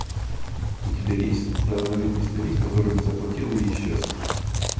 у тебя есть стооднолетний старик который не заплатил и исчез